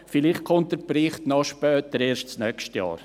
Vielleicht kommt der Bericht noch später, erst nächstes Jahr.